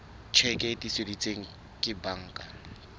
tjheke e tiiseditsweng ke banka